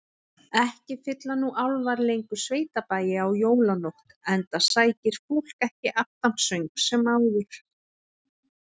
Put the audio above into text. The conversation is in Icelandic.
Ekki fylla nú álfar lengur sveitabæi á jólanótt, enda sækir fólk ekki aftansöng sem áður.